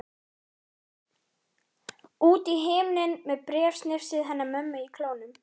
Út í himininn með bréfsnifsið hennar mömmu í klónum.